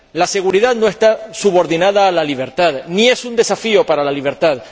La seguridad no está subordinada a la libertad, ni es un desafío para la libertad.